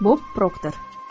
Bob Proktor.